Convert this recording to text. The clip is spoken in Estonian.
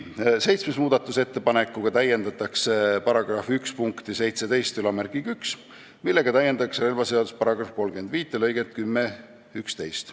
Seitsmenda muudatusettepanekuga täiendatakse § 1 punktiga 171, millega täiendatakse relvaseaduse § 35 lõikeid 10 ja 11.